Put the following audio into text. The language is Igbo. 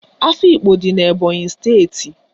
Afikpo dị n'Ebọnyị steeti.